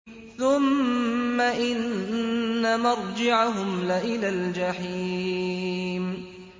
ثُمَّ إِنَّ مَرْجِعَهُمْ لَإِلَى الْجَحِيمِ